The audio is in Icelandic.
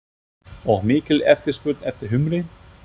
Og mikil eftirspurn eftir humri?